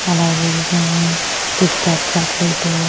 అలాగే ఈగే Kit Kat chocolate --